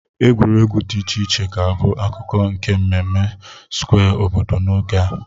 Egwuregwu dị iche iche ga-abụ akụkụ nke mmemme Square obodo n'oge a.